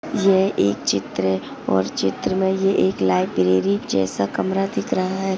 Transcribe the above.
यह एक चित्र और चित्र में एक लाइब्रेरी जैसा कमरा दिख रहा हैं।